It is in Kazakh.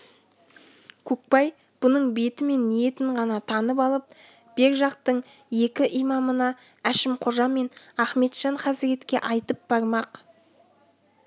көкбай бұның беті мен ниетін ғана танып алып бер жақтың екі имамына әшімқожа мен ахметжан хазіретке айтып бармақ